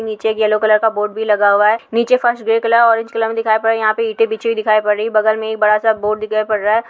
नीचे एक yellow colour का बोर्ड भी लगा हुआ है। नीचे फर्श ग्रे कलर ऑरेंज कलर में दिखाई पड़ यहाँ पे ईंटें बिछी हुई दिखाई पड़ रही। बगल में ही बड़ा सा बोर्ड दिखाई पड़ रहा है।